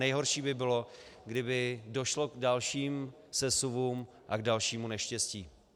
Nejhorší by bylo, kdyby došlo k dalším sesuvům a k dalšímu neštěstí.